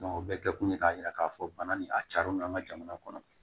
o bɛɛ kun ye k'a yira k'a fɔ bana ni a cari don an ka jamana kɔnɔ